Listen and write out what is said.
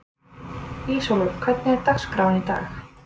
Ísólfur, hvernig er dagskráin í dag?